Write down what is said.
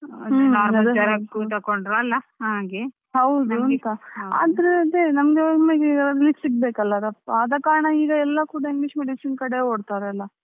ಹೌದು ಆದ್ರೆ ಅದೇ ನಮ್ಗೆ ಒಮ್ಮೆಲೇ ಸಿಗ್ಬೇಕು ಅಲ್ಲ ರಪ್ಪ ಆದ ಕಾರಣ ಈಗ ಎಲ್ಲ ಕೂಡ English medicine ಕಡೆ ಓಡ್ತಾರೆ ಎಲ್ಲ.